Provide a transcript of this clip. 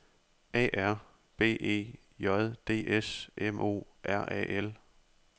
A R B E J D S M O R A L